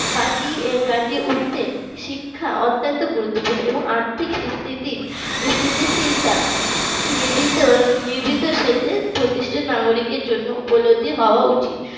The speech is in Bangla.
কাটিয়ে কাটিয়ে উঠতে শিক্ষা অত্যন্ত গুরুত্বপূর্ণ এবং আর্থিক স্থিতি স্থিতিশীলতা প্রতিটা নাগরিকের জন্য উপলব্ধি হওয়া উচিত।